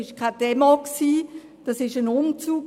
Es war keine Demo, sondern ein Umzug.